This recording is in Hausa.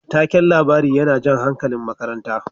Taken labari yana jan hankalin makaranta.